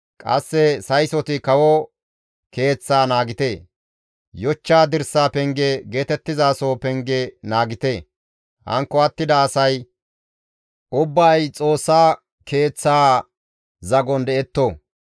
qasse saysoti kawo keeththaa naagite; yochcha dirsa penge geetettizaso pengeza naagite; hankko attida asay ubbay Xoossa keeththaa zagon detto.